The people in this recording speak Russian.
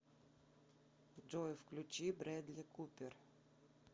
джой включи брэдли купер